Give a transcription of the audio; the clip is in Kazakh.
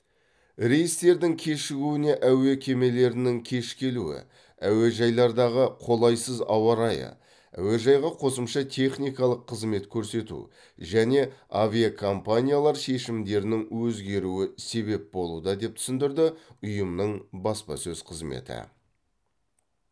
рейстердің кешігуіне әуе кемелерінің кеш келуі әуежайлардағы қолайсыз ауа райы әуежайға қосымша техникалық қызмет көрсету және авиакомпаниялар шешімдерінің өзгеруі себеп болуда деп түсіндірді ұйымның баспасөз қызметі